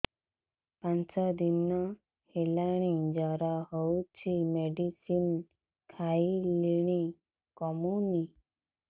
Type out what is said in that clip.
ପାଞ୍ଚ ଦିନ ହେଲାଣି ଜର ହଉଚି ମେଡିସିନ ଖାଇଲିଣି କମୁନି